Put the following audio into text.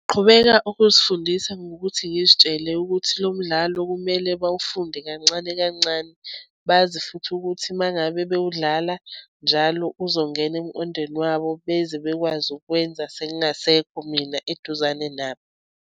Qhubeka ukuzifundisa ngokuthi ngizitshele ukuthi lo mdlalo kumele bawufunde kancane kancane. Bazi futhi ukuthi uma ngabe bewudlala njalo uzongena emqondweni wabo beze bekwazi ukwenza sengingasekho mina eduzane nabo.